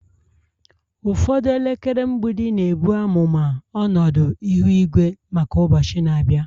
Ụfọdụ elekere mgbidi na-ebu amụma ọnọdụ ihu igwe maka ụbọchị na-abịa